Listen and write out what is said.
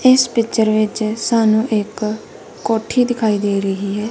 ਇਸ ਪਿਕਚਰ ਵਿਚ ਸਾਨੂੰ ਇੱਕ ਕੋਠੀ ਦਿਖਾਈ ਦੇ ਰਹੀ ਹੈ। ।